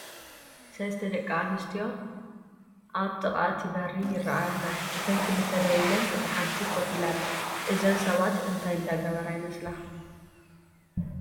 ሰለስተ ደቂ ኣንስትዮ ኣብ ጥቃ እቲ በሪ ይረአያ ኣለዋ፡፡ እተን ክልተ ደው ኢለን እታ ሓንቲ ኮፍ ኢላ ኣላ፡፡ እዘን ሰባት እንታይ እንዳገበራ ይመስላ?